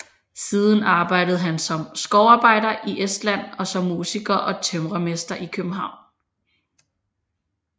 Siden arbejdede han som skovarbejder i Estland og som musiker og tømrermester i København